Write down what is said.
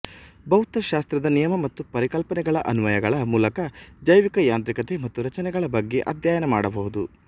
ಭೌತಶಾಸ್ತ್ರದ ನಿಯಮ ಮತ್ತು ಪರಿಕಲ್ಪನೆಗಳ ಅನ್ವಯಗಳ ಮೂಲಕ ಜೈವಿಕ ಯಾಂತ್ರಿಕತೆ ಮತ್ತು ರಚನೆಗಳ ಬಗ್ಗೆ ಅಧ್ಯಯನ ಮಾಡಬಹುದು